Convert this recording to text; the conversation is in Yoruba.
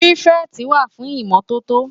Pirifèti wá fún Imòtótó